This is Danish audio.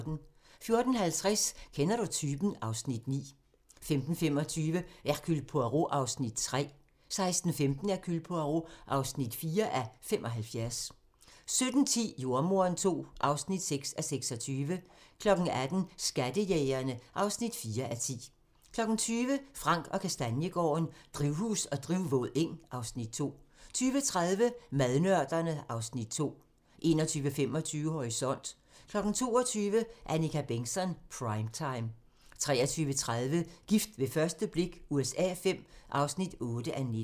14:50: Kender du typen? (Afs. 9) 15:25: Hercule Poirot (3:75) 16:15: Hercule Poirot (4:75) 17:10: Jordemoderen II (6:26) 18:00: Skattejægerne (4:10) 20:00: Frank & Kastaniegaarden - Drivhus og drivvåd eng (Afs. 2) 20:30: Madnørderne (Afs. 2) 21:25: Horisont 22:00: Annika Bengtzon: Prime Time 23:30: Gift ved første blik USA V (8:19)